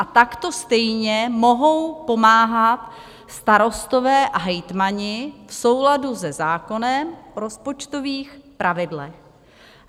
A takto stejně mohou pomáhat starostové a hejtmani v souladu se zákonem o rozpočtových pravidlech.